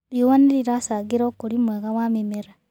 Rĩũa nĩrĩracangĩra ũkũrĩ mwega wa mĩmera